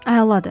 Əladır.